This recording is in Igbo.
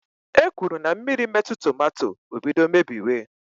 E kwuru na mmiri metụ tomato, o bido mebiwe.